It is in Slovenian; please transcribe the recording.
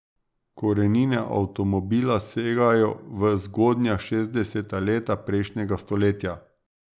Korenine avtomobila segajo v zgodnja šestdeseta leta prejšnjega stoletja.